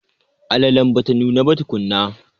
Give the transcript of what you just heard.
Alalen bata nuna ba tukunna.